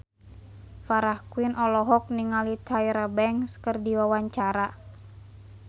Farah Quinn olohok ningali Tyra Banks keur diwawancara